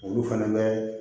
Olu fɛnɛ bɛ